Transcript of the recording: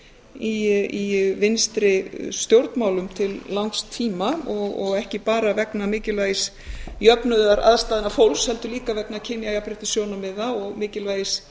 í vinstri stjórnmálum til langs tíma og ekki bara vegna mikilvægis jöfnunar aðstæðna fólks heldur líka eins kynjajafnréttissjónarmiða og mikilvægis